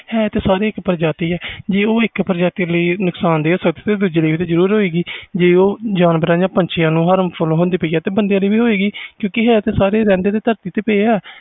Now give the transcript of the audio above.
ਹੈ ਸਾਰੇ ਇਕ ਪ੍ਰਜਾਤੀ ਆ ਜੇ ਜਾਨਵਰਾਂ ਪੰਛੀਆਂ ਲਈ harmful ਆ ਫਿਰ ਉਹ human ਲਈ ਵੀ harmful ਆ ਕਿਉਕਿ ਰਹਦੇ ਤਾ ਸਾਰੇ ਧਰਤੀ ਆ